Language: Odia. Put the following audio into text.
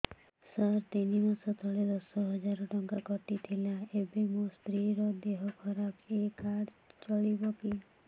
ସାର ତିନି ମାସ ତଳେ ଦଶ ହଜାର ଟଙ୍କା କଟି ଥିଲା ଏବେ ମୋ ସ୍ତ୍ରୀ ର ଦିହ ଖରାପ ଏ କାର୍ଡ ଚଳିବକି